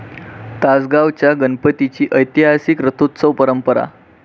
तासगावच्या गणपतीची ऐतिहासिक रथोत्सव परंपरा...